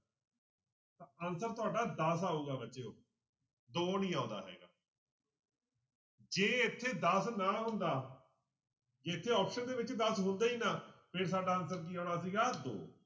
Answer ਤੁਹਾਡਾ ਦਸ ਆਊਗਾ ਬੱਚਿਓ ਦੋ ਨੀ ਆਉਂਦਾ ਹੈਗਾ ਜੇ ਇੱਥੇ ਦਸ ਨਾ ਹੁੰਦਾ ਜੇ ਇੱਥੇ option ਦੇ ਵਿੱਚ ਦਸ ਹੁੰਦਾ ਹੀ ਨਾ ਫਿਰ ਸਾਡਾ answer ਕੀ ਆਉਣਾ ਸੀਗਾ ਦੋ।